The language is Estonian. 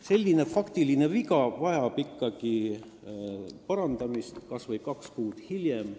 Selline faktiline viga vajab ikkagi parandamist, kas või kaks kuud hiljem.